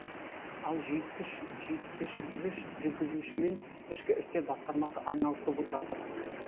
ал жүйткішгіш жүргізушімен ішкі істер басқармасы айналысып жатыр